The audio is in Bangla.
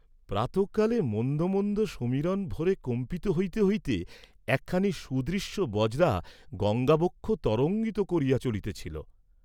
প্রাতঃকালে মন্দ মন্দ সমীরণ ভরে কম্পিত হইতে হইতে একখানি সুদৃশ্য বজরা গঙ্গাবক্ষঃ তরঙ্গিত করিয়া চলিতেছিল।